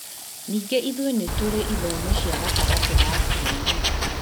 Ningĩ ithuĩ nĩ tũrĩ ithomo cia gatagatĩ ga kiumia